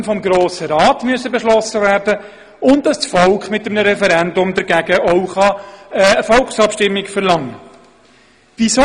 Sie sollen vielmehr vom Grossen Rat beschlossen werden, und das Volk soll mittels eines Referendums dagegen auch eine Volksabstimmung verlangen können.